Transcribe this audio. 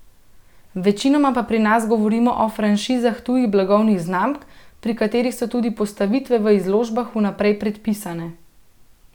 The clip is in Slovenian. Večinoma pa pri nas govorimo o franšizah tujih blagovnih znamk, pri katerih so tudi postavitve v izložbah vnaprej predpisane.